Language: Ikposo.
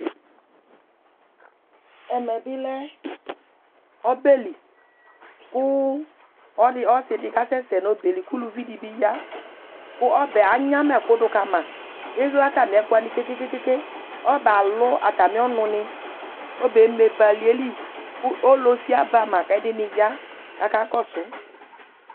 ɛmɛbilé ɔbɛli ku ɔsiɗikɑsɛsɛ ɲuobɛyɛli kulũviɗibiyɑ kụ ɔbɛ ɑŋyɑmɑɛku ɗũkɑmɑ ɛrlɛ ɑtɑmiɛkũwɑɲi kɛkɛkɛ ɔbɛ ɑlũ ɑtɑmioɲuɲi kɔbɛɛmébɑ ɑliɛliku ɔlósiɑbɑmɑ ƙéɗiɲiyɑ kạkɑkɔsu